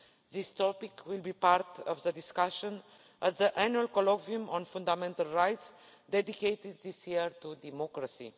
This topic will be part of the discussion at the Annual Colloquium on Fundamental Rights, dedicated this year to democracy.